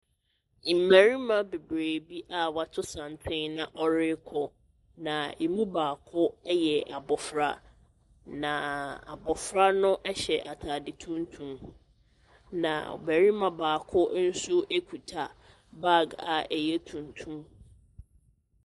Mmarima bebree bi a wɔato santen na wɔrekɔ, na ɛmu baako yɛ abɔfra, na abɔfra no hyɛ atade tuntum, na barima baako nso kuta baage a ɛyɛ tuntum.